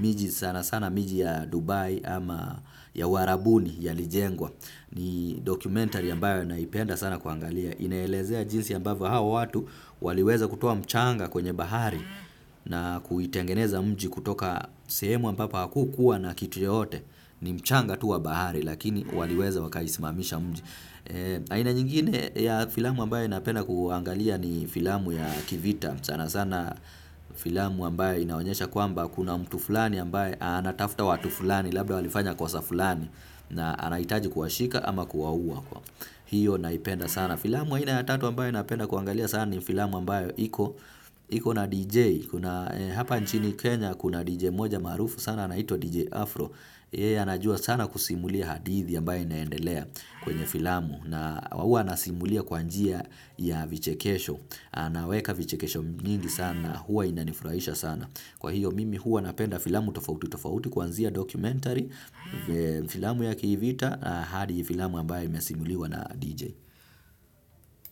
miji sana sana miji ya Dubai ama ya uarabuni yalijengwa ni documentary ambayo naipenda sana kuangalia. Inaelezea jinsi ambavyo hao watu waliweza kutoa mchanga kwenye bahari na kuitengeneza mji kutoka sehemu ambapo hakukuwa na kitu yeyote ni mchanga tu wa bahari lakini waliweza wakaisimamisha mji aina nyingine ya filamu ambayo napenda kuangalia ni filamu ya ki vita sana sana filamu ambayo inaonyesha kwamba kuna mtu fulani ambaye anatafuta watu fulani labda walifanya kosa fulani na anahitaji kuwashika ama kuwaua. Hiyo naipenda sana. Filamu aina ya tatu ambayo napenda kuangalia sana ni filamu ambayo iko na DJ. Hapa nchini Kenya kuna DJ mmoja maarufu sana anaitwa DJ Afro. Yeye anajua sana kusimulia hadithi ambayo inaendelea kwenye filamu. Na huwa anasimulia kwa njia ya vichekesho anaweka vichekesho nyingi sana huwa inanifurahisha sana kwa hiyo mimi huwa napenda filamu tofauti kwunzia documentary filamu ya ki vita hadi filamu ambayo imesimuliwa na DJ.